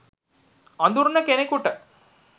අඳුරන කෙනෙකුට